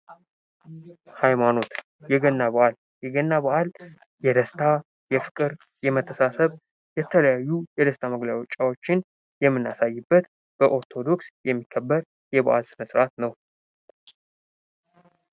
ሃይማኖት የገና በዓል የደስታ፣ የፍቅር ፣ የመተሳሰብ የተለያዩ የደስታ መግለጫዎችን የምናሳይበት በኦርቶዶክስ የሚከበር የባዕል ሥነ ሥርዓት ነው።